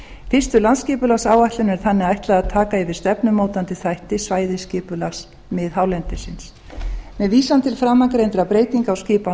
fyrstu landsskipulagsáætlun er þannig ætlað að taka yfir stefnumótandi þætti svæðisskipulags miðhálendisins með vísan til framangreindra breytinga á skipan